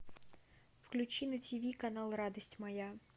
включи на ти ви канал радость моя